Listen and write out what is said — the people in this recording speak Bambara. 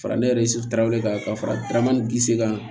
Fara ne yɛrɛ kan ka faraman ni gisikaw